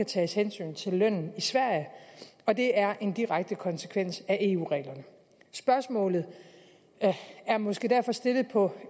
tages hensyn til lønnen i sverige og det er en direkte konsekvens af eu reglerne spørgsmålet er måske derfor stillet på